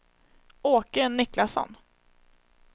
Åke Niklasson